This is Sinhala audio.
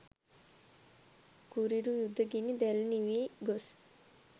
කුරිරු යුද ගිනි දැල් නිවී ගොස්